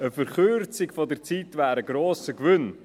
Eine Verkürzung der Zeit wäre ein grosser Gewinn.